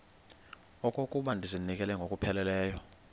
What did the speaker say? okokuba ndizinikele ngokupheleleyo